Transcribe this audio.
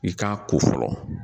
I k'a ko fɔlɔ